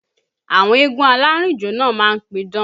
Àwọn eégún alárìnjó náà má ń pidán